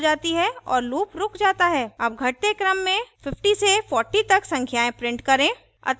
अब घटते क्रम में 50 से 40 तक संख्याएं print करें